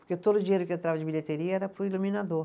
Porque todo o dinheiro que entrava de bilheteria era para o iluminador.